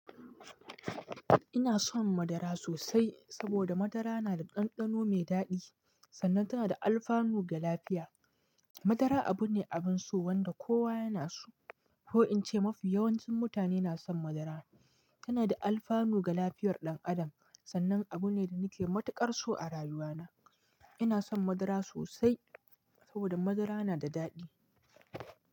Ina son madara sosai saboda madara na da ɗanɗano mai daɗi sannan tana da alfanu ga lafiya. Madara abu ne abin so wanda kowa yana so. Ko in ce mafi yawancin mutane na son madara. Tana da alfanu ga lafiyar ɗan adam sannan abu ne da nake matuƙar so a rayuwana. Ina son madara sosai saboda madara na da daɗi.